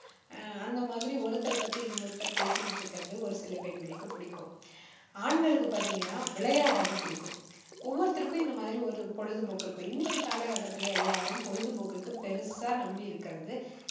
ஆஹ் அந்த மாதிரி ஒருத்தரை பத்தி இன்னொருத்தர் பேசிக்கிட்டு இருக்கிறது ஒரு சில பெண்களுக்குப் பிடிக்கும். ஆண்களுக்கு பாத்தீங்கன்னா விளையாடுறது பிடிக்கும். ஒவ்வொருத்தருக்கும் இந்த மாதிரி ஒரு பொழுதுபோக்கு இருக்கும். இன்னைக்கு காலக்கட்டத்துல எல்லாரும் பொழுதுபோக்குக்கு பெருசா நம்பி இருக்கிறது,